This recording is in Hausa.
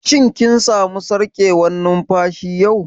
Shin kin samu sarƙewar numfashi yau?